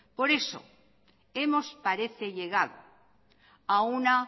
por eso hemos parece llegado a una